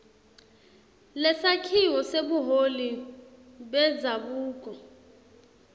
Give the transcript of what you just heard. lesakhiwo sebuholi bendzabuko